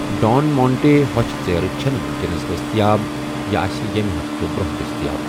ڈان مانٹے ہۄچھِ ژیرٕ چھنہٕ وُکینَس دٔستِیاب، یہِ آسہِ ییٚمہِ ہفتہٕ برونٛہہ دٔستِیاب